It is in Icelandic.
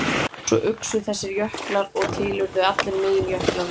Svo uxu þessir jöklar og til urðu allir meginjöklar landsins.